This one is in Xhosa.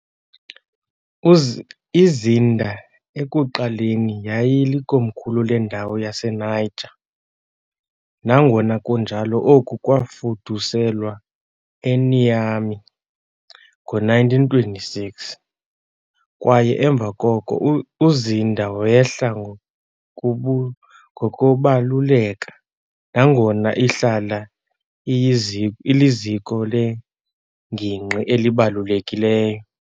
IZinder ekuqaleni yayilikomkhulu lendawo yaseNiger, nangona kunjalo oku kwafuduselwa eNiamey ngo-1926 kwaye emva koko uZinder wehla ngokubu ngokubaluleka, nangona ihlala iyizi iliziko lengingqi elibalulekileyo.